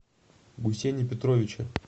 гусене петровиче